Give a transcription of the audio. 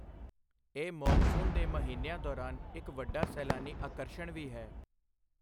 ਇਹ ਮੌਨਸੂਨ ਦੇ ਮਹੀਨਿਆਂ ਦੌਰਾਨ ਇੱਕ ਵੱਡਾ ਸੈਲਾਨੀ ਆਕਰਸ਼ਣ ਵੀ ਹੈ।